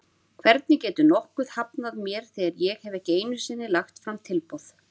Hvernig getur nokkuð hafnað mér þegar ég hef ekki einu sinni lagt fram tilboð?